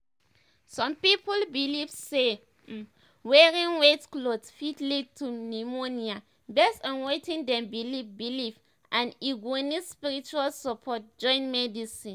some people believe say um wearing um wet clothes fit lead to pneumonia based on wetin dem believe believe and um e go need spiritual support join medicine."